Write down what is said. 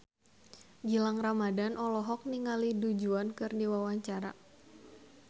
Gilang Ramadan olohok ningali Du Juan keur diwawancara